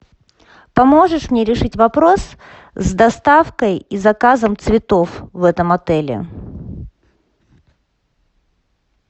поможешь мне решить вопрос с доставкой и заказом цветов в этом отеле